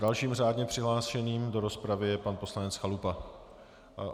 Dalším řádně přihlášeným do rozpravy je pan poslanec Chalupa.